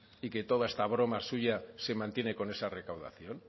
y que toda esta broma suya se mantiene con esa recaudación